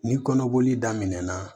Ni kɔnɔboli daminɛna